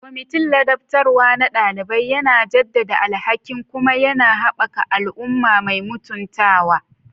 Kwamitin ladabtarwa na ɗalibi yana jaddada alhakin kuma yana haɓaka al'umma mai mutuntawa.